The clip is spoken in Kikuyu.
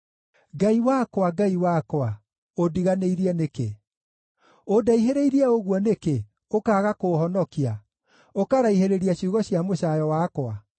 Ngai wakwa, Ngai wakwa, ũndiganĩirie nĩkĩ? Ũndaihĩrĩirie ũguo nĩkĩ, ũkaaga kũũhonokia, ũkaraihĩrĩria ciugo cia mũcaayo wakwa?